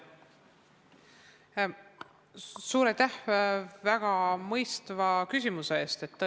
Suur aitäh väga mõistva küsimuse eest!